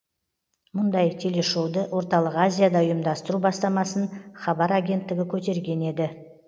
мұндай телешоуды орталық азияда ұйымдастыру бастамасын хабар агенттігі көтерген еді